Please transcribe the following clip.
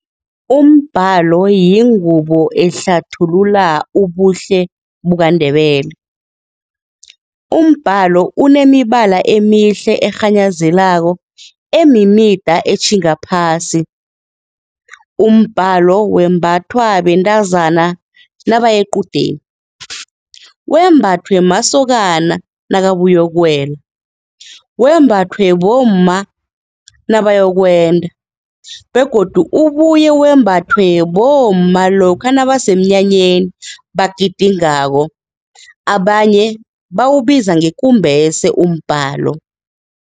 Umbalo yingubo ehlathulula ubuhle bukaNdebele. Umbalo unemibala emihle erhanyazelako, emimida etjhinga phasi, umbalo wembathwa bentazana nabayequdeni, wembathwe masokana nakabuyokuwela, wembathwe bomma nabayokwenda begodu ubuye wembathwe bomma lokha nabasemnyanyeni bagidingako, abanye bawubiza ngekumbese umbalo.